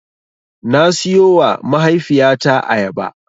Na siyowa mahaifiyata ayaba.